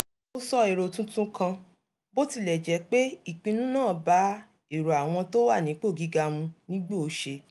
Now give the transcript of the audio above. mo sọ èrò tuntun kan bó tilẹ̀ jẹ́ pé ìpinnu náà bá èrò àwọn tó wà nípò gíga mu nígbòóṣe